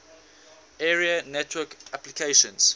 area network applications